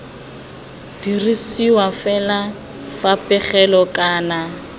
dirisiwa fela fa pegelo kana